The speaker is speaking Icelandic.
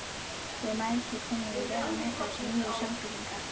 Við mæðgur kunnum því vel að meta þessa nýju sambýlinga.